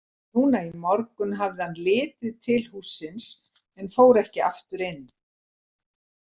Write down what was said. Núna í morgun hafði hann litið til hússins en fór ekki aftur inn.